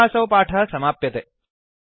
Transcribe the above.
अत्र असौ पाठः समाप्यते